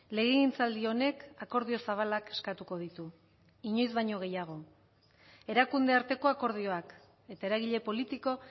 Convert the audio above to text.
legegintzaldi honek akordio zabalak eskatuko ditu inoiz baino gehiago erakunde arteko akordioak eta eragile politiko